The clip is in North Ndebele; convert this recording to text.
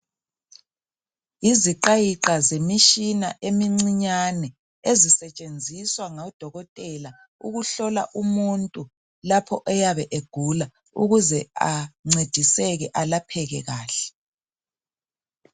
Iziqayiqa zemitshina emincinyane ezisetshenziswa ngodokotela ukuhlola umuntu lapho eyabe egula, ukuze ancediseke alapheke kahle.